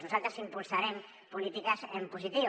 nosaltres impulsarem polítiques en positiu